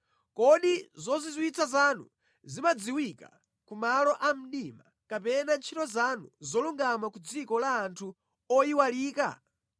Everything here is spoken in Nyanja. Kodi zozizwitsa zanu zimadziwika ku malo a mdima, kapena ntchito zanu zolungama ku dziko la anthu oyiwalika?